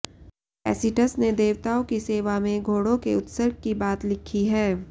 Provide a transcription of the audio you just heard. Tacitus ने देवताओं की सेवा में घोड़ों के उत्सर्ग की बात लिखी है